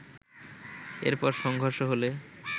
এরপর সংঘর্ষ হলে